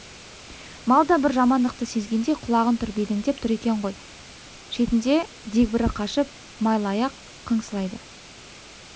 мал да бір жамандықты сезгендей құлағын түріп елеңдеп тұр екен қой шетінде дегбірі қашып майлыаяқ қыңсылайды